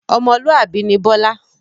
Ọmọlúwàbí ni Bọlá